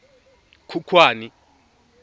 khukhwane